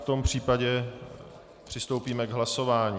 V tom případě přistoupíme k hlasování.